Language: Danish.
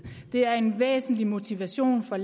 er den bedste motivation for